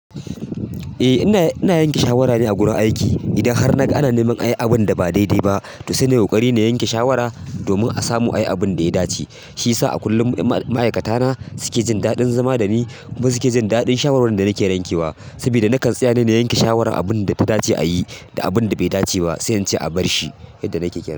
Eh ina yanke shawara ne a gurin aiki. Idan har naga ana neman a yi abunda ba daidai ba, to saina ƙoƙari na yanke shawara domin a samu ayi abunda ya dace. Shiyasa a kullum ma'aikatana suke jin daɗin zama dani kuma suke jin daɗin shawarwarin da nake rankewa. Sabida na kan tsaya na yanke shawarar abunda ta dace a yi da abunda bai dace ba sai in ce a barshi yadda nake kenan.